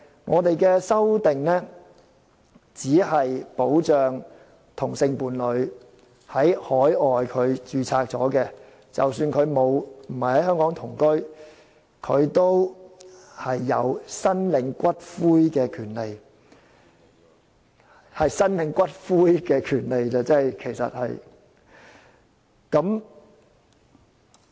我們的修正案只是保障已在海外註冊的同性伴侶，令他們即使沒有在香港同居，也有申領伴侶骨灰的權利，只是申領骨灰的權利而已。